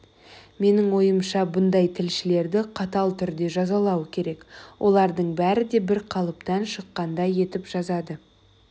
менің ойымша мұндай тілшілерді қатал түрде жазалау керек олардың бәрі де бір қалыптан шыққандай етіп жазады